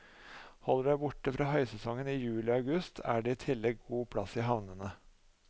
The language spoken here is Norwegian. Holder du deg borte fra høysesongen i juli og august er det i tillegg god plass i havnene.